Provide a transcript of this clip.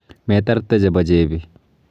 Metarte becho chepi.